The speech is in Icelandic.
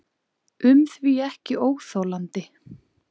um því ekki óþolandi.